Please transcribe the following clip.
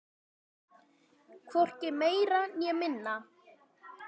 Hvorki meira né minna!